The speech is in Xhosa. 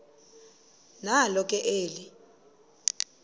nalo ke eli